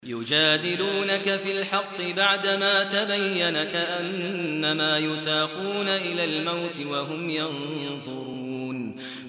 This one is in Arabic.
يُجَادِلُونَكَ فِي الْحَقِّ بَعْدَمَا تَبَيَّنَ كَأَنَّمَا يُسَاقُونَ إِلَى الْمَوْتِ وَهُمْ يَنظُرُونَ